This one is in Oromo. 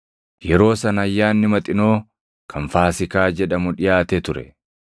Yeroo sana Ayyaanni Maxinoo kan Faasiikaa jedhamu dhiʼaate ture;